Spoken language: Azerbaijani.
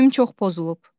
Keyfim çox pozulub.